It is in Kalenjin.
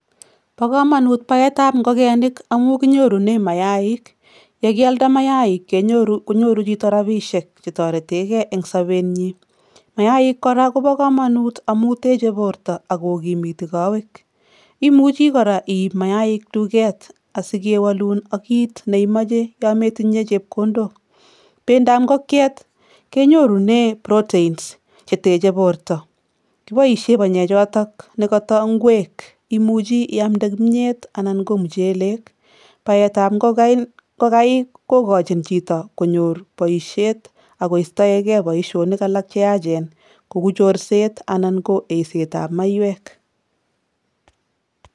Bo kamanut baetab ngokenik amu kinyorune mayaik, ye kialda mayaik konyoru chito rabiisiek chetoretekei eng sobenyi, mayaik kora kobo kamanut amu teche borta ak kokimiti kowek, imuchi kora iip mayaik duket asikewolun ak kiit ne imoche yo metinye chepkondok, bendab ngokyet kenyorune proteins che techei borta kiboisie panye choto ne koto ngweek imuchi iamde kimnyet anan ko muchelek, baetab ngokaik kokochin chito konyor boisiet akoistoegei boisionik alak che yaachen kou chorset anan ko eisetab maiywek.